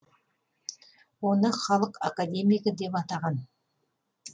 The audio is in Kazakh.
оны халық академигі деп атаған